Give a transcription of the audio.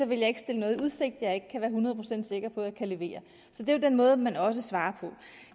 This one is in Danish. vil ikke stille noget i udsigt jeg ikke kan være hundrede procent sikker på at kunne levere så det er den måde man også svarer på